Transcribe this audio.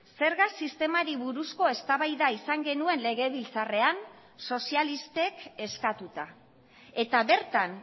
zerga sistemari buruzko eztabaida izan genuen legebiltzarrean sozialistek eskatuta eta bertan